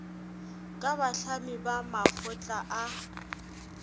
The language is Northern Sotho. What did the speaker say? ka bahlami ba makgotla a